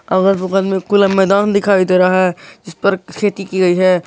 अगल बगल में खुला मैदान दिखाई दे रहा है जिसपर खेती की गई है।